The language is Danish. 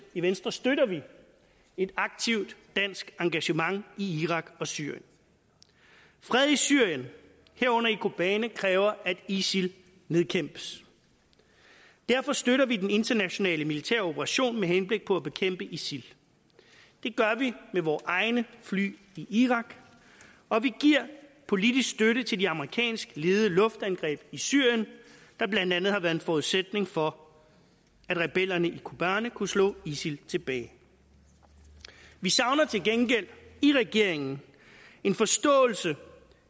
i venstre støtter vi et aktivt dansk engagement i irak og syrien fred i syrien herunder i kobane kræver at isil nedkæmpes derfor støtter vi den internationale militære operation med henblik på at bekæmpe isil det gør vi med vore egne fly i irak og vi giver politisk støtte til de amerikansk ledede luftangreb i syrien der blandt andet har været en forudsætning for at rebellerne i kobane kunne slå isil tilbage vi savner til gengæld i regeringen en forståelse